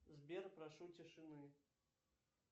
сбер прошу тишины